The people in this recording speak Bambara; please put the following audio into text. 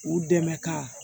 U dɛmɛ ka